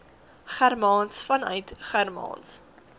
germaans vanuit germaans